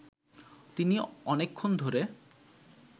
তিনি অনেকক্ষণ ধরে